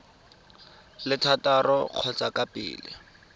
le thataro ka kgotsa pele